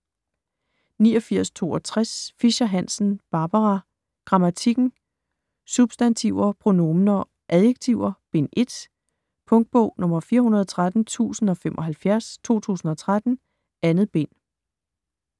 89.62 Fischer-Hansen, Barbara: Grammatikken: Substantiver, pronominer, adjektiver: Bind 1 Punktbog 413075 2013. 2 bind.